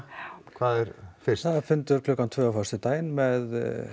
hvað er fyrst það er fundur klukkan tvö á föstudaginn með